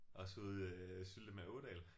Også ude øh Syltemade Ådal